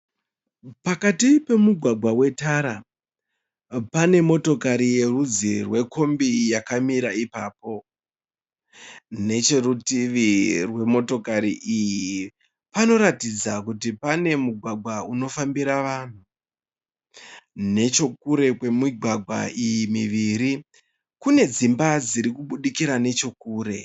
Pakati pemugwagwa wetara, pane motokari yerudzi rwekombi yakamira ipapo. Necherutivi rwemotokari iyi, panoratidza kuti panemugwagwa unofanba. vanhu. Nechekure kwemigwagwa iyi muviri, pane dzimba dzirikubukira nechekure.